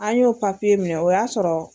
An y'o papiye minɛ o y'a sɔrɔ.